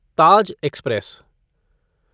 Taj express